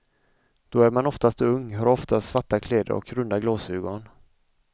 Då är man oftast ung, har ofta svarta kläder och runda glasögon.